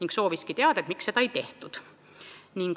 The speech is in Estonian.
Ta sooviski teada, miks seda ei tehtud.